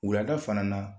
Wulada fana na